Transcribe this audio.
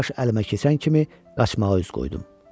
Plaş əlimə keçən kimi qaçmağa üz qoydum.